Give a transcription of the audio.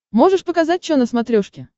можешь показать чо на смотрешке